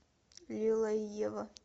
лила и ева